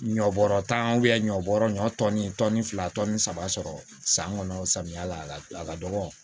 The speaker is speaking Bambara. Ɲɔ bɔrɔ tan ɲɔ bɔrɔ ɲɔ tɔni tɔni fila saba sɔrɔ san kɔnɔ samiya la a ka dɔgɔ